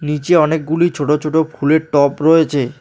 নিচে অনেকগুলি ছোট ছোট ফুলের টব রয়েছে।